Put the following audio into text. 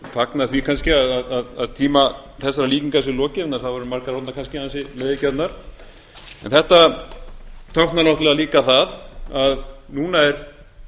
fagnað því kannski að tíma þessara líkinga sé lokið en þær voru margar orðnar kannski ansi leiðigjarnar en þetta táknar náttúrlega líka það að núna er